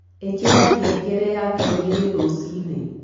ĩkĩra ngengere ya thaaĩgĩrĩ rũcĩĩnĩ